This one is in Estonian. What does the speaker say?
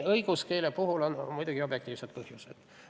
Õiguskeele puhul on muidugi objektiivsed põhjused.